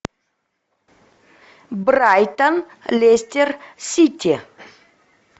брайтон лестер сити